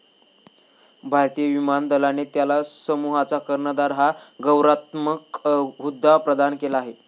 भारतीय विमान दलाने त्याला समूहाचा कर्णधार हा गौरवात्मक हुद्दा प्रदान केला आहे.